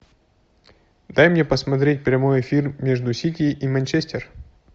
дай мне посмотреть прямой эфир между сити и манчестер